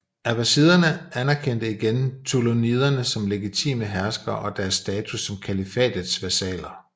Abbasiderne anerkendte igen ṭūlūniderne som legitime herskere og deres status som kalifatets vasaller